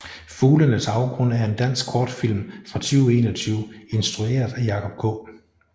Fuglenes afgrund er en dansk kortfilm fra 2021 instrueret af Jacob K